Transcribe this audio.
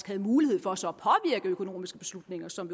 havde mulighed for så at påvirke økonomiske beslutninger som